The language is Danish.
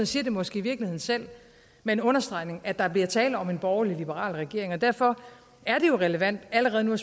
siger det måske i virkeligheden selv med en understregning af at der bliver tale om en borgerlig liberal regering og derfor er det jo relevant allerede nu